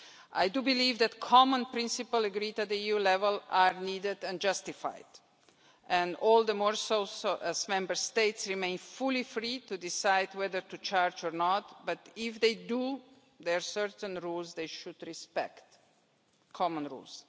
I do believe that common principles, agreed at EU level, are needed and justified, and all the more so as Member States remain fully free to decide whether to charge or not, but if they do, there are certain rules they should respect common rules.